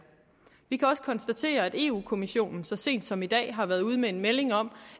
vi kan også konstatere at europa kommissionen så sent som i dag har været ude med en melding om